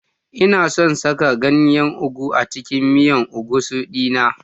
Ina son saka ganyen ugu a cikin miyan egusi dina.